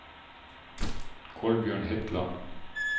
Kolbjørn Hetland